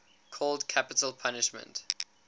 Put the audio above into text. called capital punishment